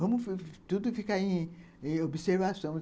Vamos tudo ficar em em observação.